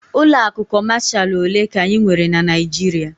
Ụlọ akụ Kọmashal ole ka anyị nwere na Naịjirịa?